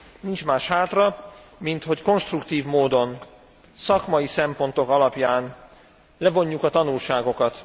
Nincs más hátra, mint hogy konstruktív módon szakmai szempontok alapján levonjuk a tanulságokat.